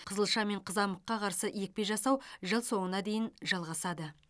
қызылша мен қызамыққа қарсы екпе жасау жыл соңына дейін жалғасады